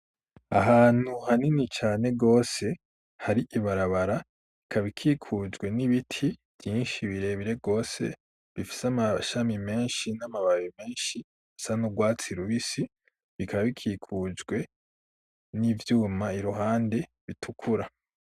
Ahantu hanini cane gwose hari ibarabara ikabikikujwe n'ibiti vyinshi birebire rwose bifise amashami menshi n'amababe menshi asa n'ubwatsi rubisi bikabikikujwe n'ivyuma iruhande bitukura.